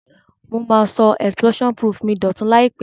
Mo ma so explosion proof mi dòtun làìpé